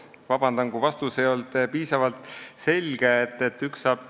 Palun vabandust, et mu vastus ei olnud piisavalt selge!